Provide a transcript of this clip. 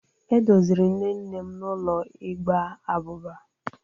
E doziri nne nne m n'ụlọ ịgba abụba.